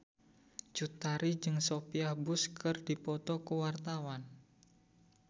Cut Tari jeung Sophia Bush keur dipoto ku wartawan